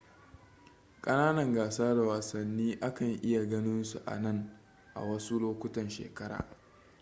kananan gasa da wasani a kan iya ganin su anan a wasu lokutan shekara